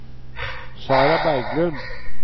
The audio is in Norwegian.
Sarah Berglund